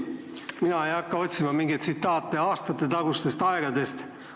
Mina ei hakka otsima mingeid tsitaate aastatetagustest aegadest.